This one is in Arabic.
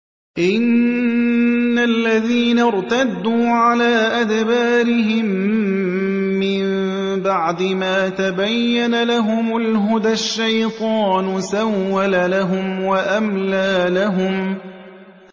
إِنَّ الَّذِينَ ارْتَدُّوا عَلَىٰ أَدْبَارِهِم مِّن بَعْدِ مَا تَبَيَّنَ لَهُمُ الْهُدَى ۙ الشَّيْطَانُ سَوَّلَ لَهُمْ وَأَمْلَىٰ لَهُمْ